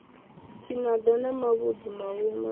tshinada na mavhudzi mahulu matswu